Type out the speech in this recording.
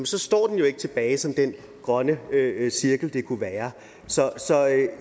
så står den jo ikke tilbage som den grønne cirkel den kunne være så